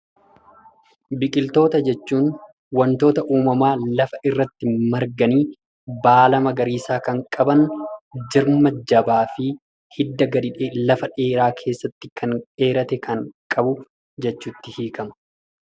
Biqiltoota jechuun wantoota uumamaan lafa irratti marganii baala magariisaa kan qaban jirma jabaa fi hidda lafa dheeraa keessatti kan dheerate kan qabu jechuutti hiikama.